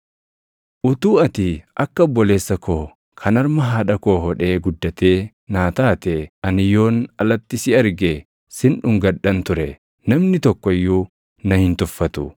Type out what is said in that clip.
Utuu ati akka obboleessa koo kan harma haadha koo hodhee guddatee naa taatee! Ani yoon alatti si arge sin dhungadhan ture; namni tokko iyyuu na hin tuffatu.